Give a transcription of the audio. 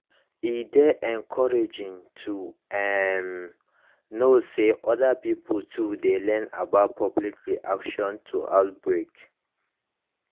e dey encouraging to um know say other pipo too dey learn about public reaction to outbreak